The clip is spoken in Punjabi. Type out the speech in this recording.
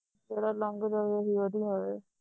ਜਿਹੜਾ ਲੰਘ ਜਾਵੇ ਉਹ ਹੀ ਵਧੀਆ ਹੋਵੇ